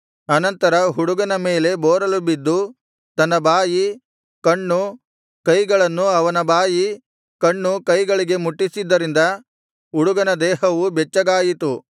ಅನಂತರ ಹುಡುಗನ ಮೇಲೆ ಬೋರಲುಬಿದ್ದು ತನ್ನ ಬಾಯಿ ಕಣ್ಣು ಕೈಗಳನ್ನು ಅವನ ಬಾಯಿ ಕಣ್ಣು ಕೈಗಳಿಗೆ ಮುಟ್ಟಿಸಿದ್ದರಿಂದ ಹುಡುಗನ ದೇಹವು ಬೆಚ್ಚಗಾಯಿತು